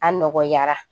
A nɔgɔyara